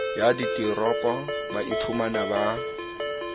ya diteropo ba iphumang ba